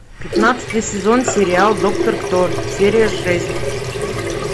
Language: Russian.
пятнадцатый сезон сериал доктор кто серия шесть